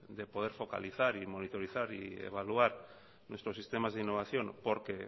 de poder focalizar y monitorizar y evaluar nuestros sistemas de innovación porque